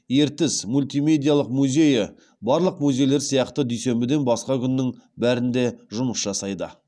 ертіс мультимедиялық музейі барлық музейлер сияқты дүйсенбіден басқа күннің бәрінде жұмыс жасайды